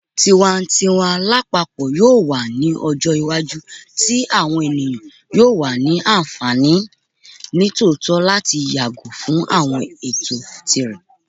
Tiwantiwa lapapọ yoo wa ni ọjọ iwaju ti awọn eniyan yoo ni anfani nitootọ lati yago fun awọn ẹtọ tirẹ